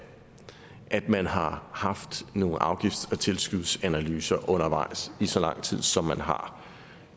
at man har haft nogle afgifts og tilskudsanalyser undervejs i så lang tid som man har